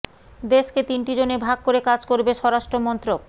দেশকে তিনটি জোনে ভাগ করে কাজ করবে স্বরাষ্ট্র মন্ত্রক